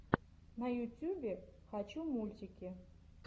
на ютюбе хочу мультики